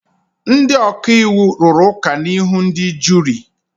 Ndị ọka iwu rụrụ ụka n'ihu ndị juri.